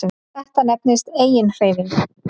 Þetta nefnist eiginhreyfing.